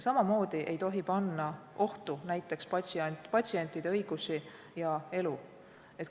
Samamoodi ei tohi panna ohtu näiteks patsientide õigusi ja elu.